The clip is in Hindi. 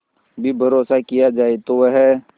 भी भरोसा किया जाए तो वह